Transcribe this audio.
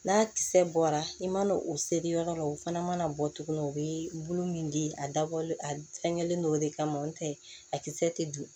N'a kisɛ bɔra i mana o seri yɔrɔ la o fana mana bɔ tuguni o be bolo min di a dabɔlen a fɛngɛlen don o de kama o tɛ a kisɛ tɛ don